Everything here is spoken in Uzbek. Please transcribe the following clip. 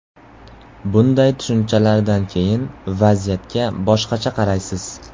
Bunday tushunchalardan keyin vaziyatga boshqacha qaraysiz!